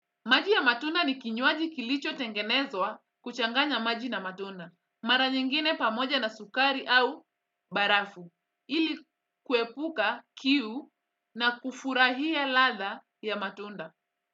Maji ya matunda ni kinywaji kilicho tengenezwa kuchanganya maji na matunda. Mara nyingine pamoja na sukari au barafu. Ili kuepuka kiu na kufurahia ladha ya matunda.